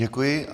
Děkuji.